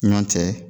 Ɲɔn cɛ